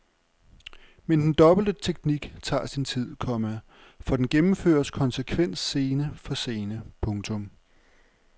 Men den dobbelte teknik tager sin tid, komma for den gennemføres konsekvent scene for scene. punktum